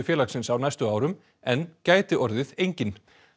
félagsins á næstu árum en gæti orðið enginn